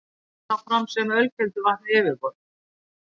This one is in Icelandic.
Kemur vatnið þá fram sem ölkelduvatn við yfirborð.